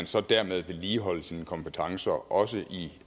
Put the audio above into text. så dermed vedligeholder sine kompetencer også i